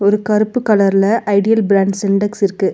ஒரு கருப்பு கலர்ல ஐடியல் பிராண்டு சிண்டக்ஸ் இருக்கு.